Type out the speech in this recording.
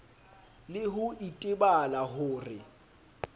le ho itebala ho re